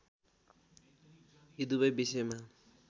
यी दुवै विषयमा